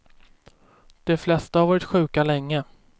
De flesta har varit sjuka länge.